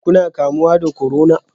Shin kuna kamuwa da corona?